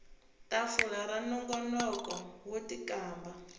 tafula ra nongonoko wo tikamba